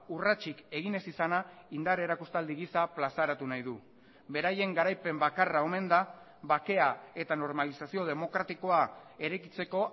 urratsik egin ez izana indar erakustaldi gisa plazaratu nahi du beraien garaipen bakarra omen da bakea eta normalizazio demokratikoa eraikitzeko